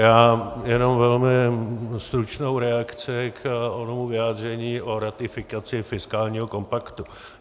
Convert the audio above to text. Já jenom velmi stručnou reakci k onomu vyjádření o ratifikaci fiskálního kompaktu.